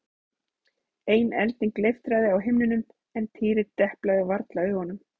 Enn ein elding leiftraði á himninum en Týri deplaði varla augunum.